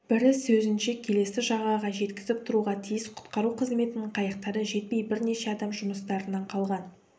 бірі сөзінше келесі жағаға жеткізіп тұруға тиіс құтқару қызметінің қайықтары жетпей бірнеше адам жұмыстарынан қалған